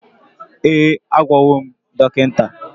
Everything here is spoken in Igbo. Ee, agwagom dọkịta